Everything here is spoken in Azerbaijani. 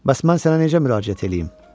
Bəs mən sənə necə müraciət eləyim?